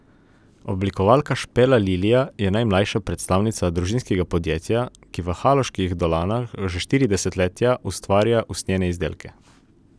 Oblikovalka Špela Lilija je najmlajša predstavnica družinskega podjetja, ki v haloških Dolanah že štiri desetletja ustvarja usnjene izdelke.